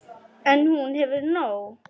En hún hefur nóg.